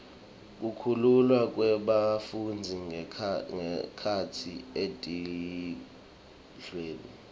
kukhululwa kwebafundzi ngekhatsi etikudlweni